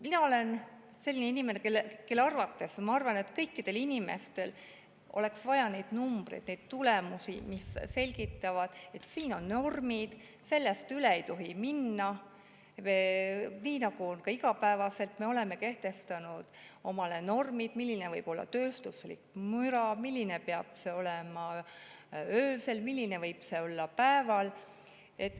Mina olen selline inimene, kes arvab, et kõikidel inimestel oleks vaja teada neid numbreid, neid tulemusi, mis selgitavad, et siin on normid, millest üle ei tohi minna, nii nagu me oleme kehtestanud omale normid, milline võib olla tööstusmüra, milline peab see olema öösel ja milline võib see olla päeval.